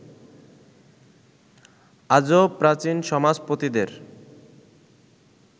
আজও প্রাচীন সমাজপতিদের